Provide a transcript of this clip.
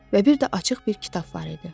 Və bir də açıq bir kitab var idi.